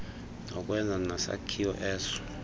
yokwenza nesakhiwo eso